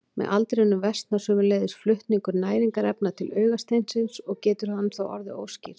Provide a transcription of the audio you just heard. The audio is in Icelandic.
Með aldrinum versnar sömuleiðis flutningur næringarefna til augasteinsins og getur hann þá orðið óskýr.